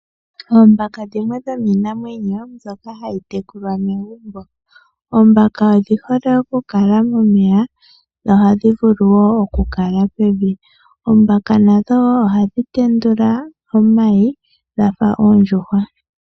Oombaka dhimwe dhomiinamwenyo mbyoka hayi tekulwa megumbo. Oombaka odhi hole okukala momeya, dho ohadhi vulu wo okukala pevi. Nadho wo ohadhi tendula omayi dha fa oondjuhwa.